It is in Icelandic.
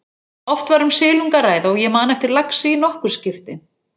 Oft var um silung að ræða og ég man eftir laxi í nokkur skipti.